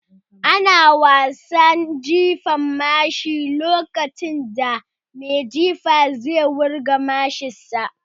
Ana wasan Jifan mashi a fili lokacin da mai jifa zai wurga mashin sa